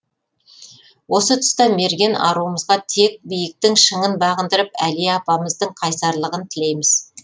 осы тұста мерген аруымызға тек биіктің шыңын бағындырып әлия апамыздың қайсарлығын тілейміз